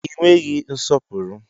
Ị nweghị nsọpụrụ!